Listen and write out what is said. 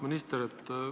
Auväärt minister!